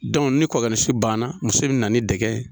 ni kɔɔkɛnisu banna muso bɛ na ni dɛgɛ ye.